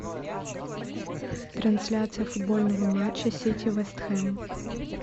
трансляция футбольного матча сити вест хэм